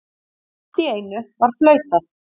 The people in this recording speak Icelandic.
Allt í einu var flautað.